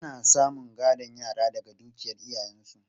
Ana samun gadon yara daga dukiyar iyayensu.